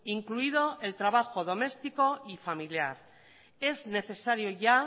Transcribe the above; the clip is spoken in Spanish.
incluido el trabajo doméstico y familiar es necesario ya